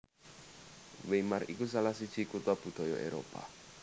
Weimar iku salah siji kutha budaya Éropah